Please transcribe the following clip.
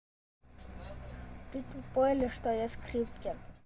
ты тупой или что я скрипке